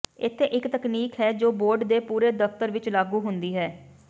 ਇੱਥੇ ਇੱਕ ਤਕਨੀਕ ਹੈ ਜੋ ਬੋਰਡ ਦੇ ਪੂਰੇ ਦਫਤਰ ਵਿੱਚ ਲਾਗੂ ਹੁੰਦੀ ਹੈ